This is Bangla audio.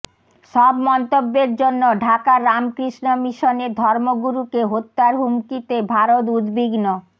সব মন্তব্যের জন্য ঢাকার রামকৃষ্ণ মিশনের ধর্মগুরুকে হত্যার হুমকিতে ভারত উদ্বিগ্ন